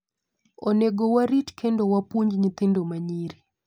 Onego warit kendo wapuonj nyithindo ma nyiri.